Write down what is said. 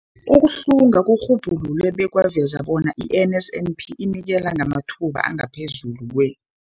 Ukuhlunga kurhubhulule bekwaveza bona i-NSNP inikela ngamathuba angaphezulu kwe-